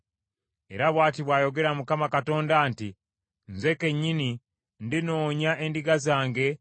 “ ‘Era bw’ati bw’ayogera Mukama Katonda nti, Nze kennyini ndinoonya endiga zange ne nzirabirira.